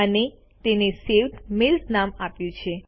અને તેને saved mails નામ આપ્યું છે